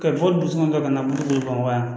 Ka bɔ sɔngɔ kɛ ka na muru don bamakɔ yan